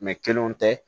kelenw tɛ